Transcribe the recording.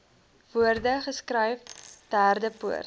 woorde geskryf derdepoort